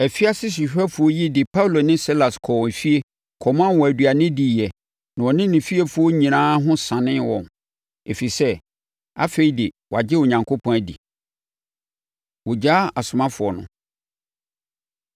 Afiase sohwɛfoɔ yi de Paulo ne Silas kɔɔ efie kɔmaa wɔn aduane diiɛ na ɔne ne fiefoɔ nyinaa ho sanee wɔn, ɛfiri sɛ, afei de, wɔagye Onyankopɔn adi. Wɔgyaa Asomafoɔ No